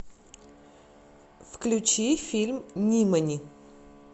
включи фильм нимани